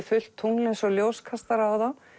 fullt tungl eins og ljóskastara á þá